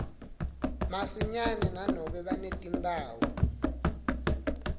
masinyane nanobe banetimphawu